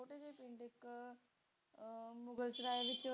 ਅਹ Mughal Sarai ਵਿਚ